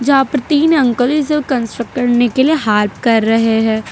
यहां पर तीन अंकल इस कंस्ट्रक्ट करने के लिए हेल्प कर रहे हैं।